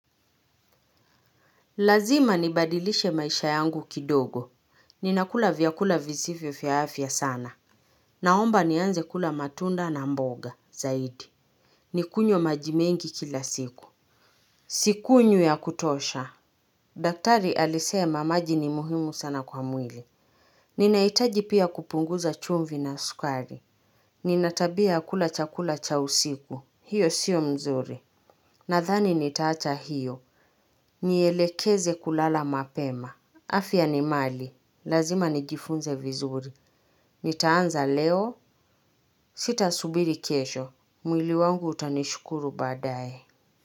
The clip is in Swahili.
Lazima nibadilishe maisha yangu kidogo. Ninakula vyakula vizivyo vya afya sana. Naomba nianze kula matunda na mboga, zaidi. Nikunywe maji mengi kila siku. Sikunywi ya kutosha. Daktari alisema maji ni muhimu sana kwa mwili. Ninahitaji pia kupunguza chumvi na sukari. Ninatabia kula chakula cha usiku. Hiyo sio mzuri. Nadhani nitaacha hiyo. Nielekeze kulala mapema. Afya ni mali, lazima nijifunze vizuri. Nitaanza leo, sita subiri kesho. Mwili wangu utanishukuru baadaye.